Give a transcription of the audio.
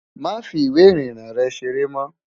Máa fi ìwé ìrìnnà rę seré mó!